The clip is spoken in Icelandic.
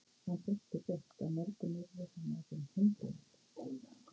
Hann brosti breitt: Á morgun yrði hann orðinn hundeigandi!